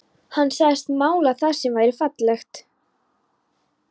Hann sagðist mála það sem væri fallegt.